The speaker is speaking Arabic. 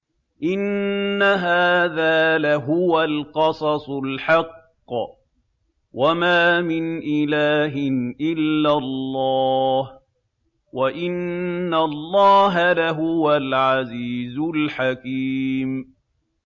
إِنَّ هَٰذَا لَهُوَ الْقَصَصُ الْحَقُّ ۚ وَمَا مِنْ إِلَٰهٍ إِلَّا اللَّهُ ۚ وَإِنَّ اللَّهَ لَهُوَ الْعَزِيزُ الْحَكِيمُ